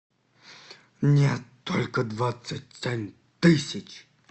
нет только двадцать семь тысяч